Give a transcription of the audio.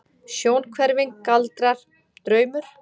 Sjónhverfing, galdrar, draumur?